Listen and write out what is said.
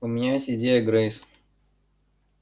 у меня есть идея грейс